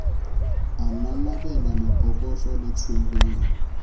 a nanabela lebokoso le tshwereng